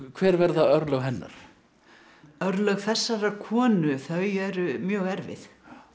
hver verða örlög hennar örlög þessarar konu þau eru mjög erfið